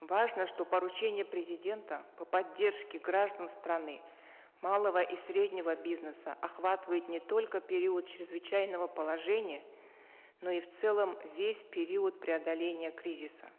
важно что поручение президента по поддержке граждан страны малого и среднего бизнеса охватывает не только период чрезвычайного положения но и в целом весь период преодоления кризиса